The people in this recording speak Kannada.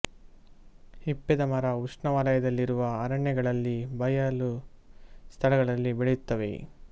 ಹಿಪ್ಪೆದ ಮರ ಉಷ್ಣವಲಯದಲ್ಲಿರುವ ಅರಣ್ಯ ಗಳಲ್ಲಿ ಬಯಲು ಸ್ಥಳಗಳಲ್ಲಿ ಬೆಳೆಯುತ್ತವೆ